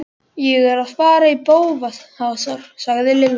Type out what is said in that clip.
Ég er að fara í bófahasar sagði Lilla.